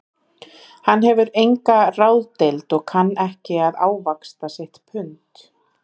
Hann hefur enga ráðdeild og kann ekki að ávaxta sitt pund